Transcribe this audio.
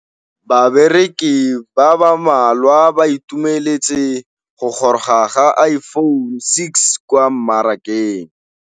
Bareki ba ba malwa ba ituemeletse go gôrôga ga Iphone6 kwa mmarakeng.